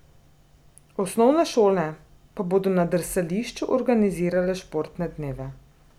Osnovne šole pa bodo na drsališču organizirale športne dneve.